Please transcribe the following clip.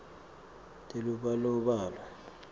telubalobalo